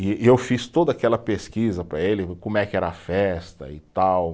E e eu fiz toda aquela pesquisa para ele, como é que era a festa e tal.